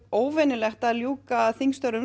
óvenjulegt að ljúka þingstörfum